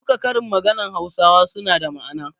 Duka karin maganar hausawa suna da ma'ana.